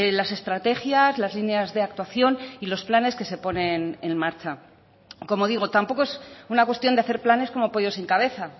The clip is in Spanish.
las estrategias las líneas de actuación y los planes que se ponen en marcha como digo tampoco es una cuestión de hacer planes como pollos sin cabeza